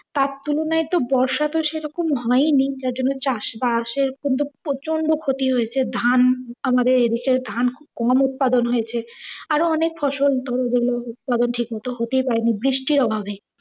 তার তুলনায়ে তো বর্ষা তো সেরকম হইনি টার জন্য চাষবাসের কিন্তু প্রচণ্ড ক্ষতি হয়েছে ধান আমাদের এইদিকে ধান কম উদ পাদন হয়েছে। আর ও অনেক ফসল হতেই পারে বৃষ্টির অভাবে।